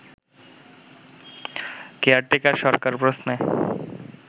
caretaker সরকার প্রশ্নে